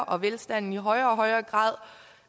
og velstanden i højere og højere grad